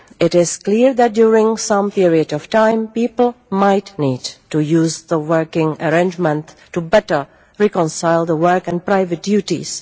It is clear that during some period of time people might need to use the working arrangement to better reconcile work and private duties.